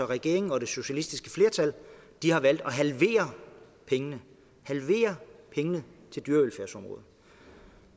regeringen og det socialistiske flertal har valgt at halvere pengene til dyrevelfærdsområdet